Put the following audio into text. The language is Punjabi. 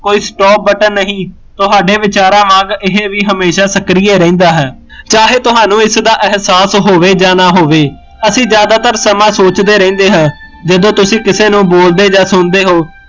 ਕੋਈ stop ਬਟਨ ਨਹੀਂ, ਤੁਹਾਡੇ ਵਿਚਾਰਾ ਵਾਂਗ ਇਹ ਵੀ ਹਮੇਸ਼ਾ ਸਕ੍ਰਿਏ ਰਹਿੰਦਾ ਹੈ ਚਾਹੇ ਤੁਹਾਨੂ ਇਸਦਾ ਅਹਿਸਾਸ ਹੋਵੇ ਜਾ ਨਾ ਹੋਵੇ, ਅਸੀਂ ਜਿਆਦਾਤਰ ਸਮਾਂ ਸੋਚਦੇ ਰਹਿੰਦੇ ਹਾਂ, ਜਦੋਂ ਤੁਸੀਂ ਕਿਸੀ ਨੂ ਬੋਲਦੇ ਜਾਂ ਸੁਣਦੇ ਹੋ